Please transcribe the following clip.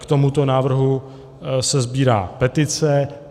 K tomuto návrhu se sbírá petice.